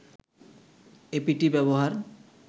apt ব্যবহার